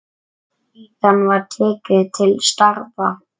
Síðan var tekið til starfa.